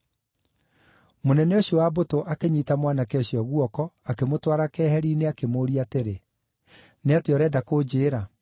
Mũnene ũcio wa mbũtũ akĩnyiita mwanake ũcio guoko, akĩmũtwara keeheri-inĩ, akĩmũũria atĩrĩ, “Nĩ atĩa ũrenda kũnjĩĩra?”